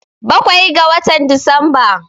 Bakwai ga watan Disamba.